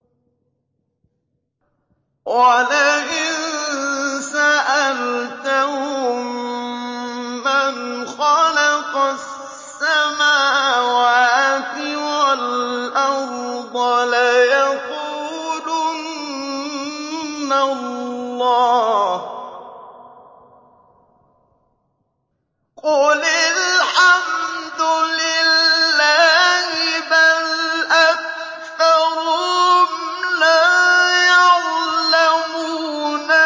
وَلَئِن سَأَلْتَهُم مَّنْ خَلَقَ السَّمَاوَاتِ وَالْأَرْضَ لَيَقُولُنَّ اللَّهُ ۚ قُلِ الْحَمْدُ لِلَّهِ ۚ بَلْ أَكْثَرُهُمْ لَا يَعْلَمُونَ